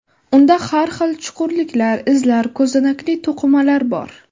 Unda har xil chuqurliklar, izlar, ko‘zanakli to‘qimalar bor.